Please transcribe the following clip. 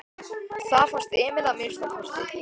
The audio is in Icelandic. Það fannst Emil að minnsta kosti.